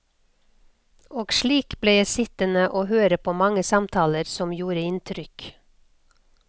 Og slik ble jeg sittende høre på mange samtaler som gjorde inntrykk.